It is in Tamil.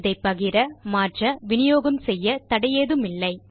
இதை பகிர மாற்ற விநியோகம் செய்ய தடை ஏதுமில்லை